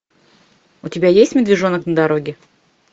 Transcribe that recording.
у тебя есть медвежонок на дороге